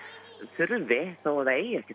þurfi þó það eigi ekki